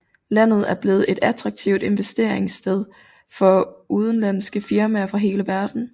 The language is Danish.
Landet er blevet et attraktivt investeringssted for udenlandske firmaer fra hele verden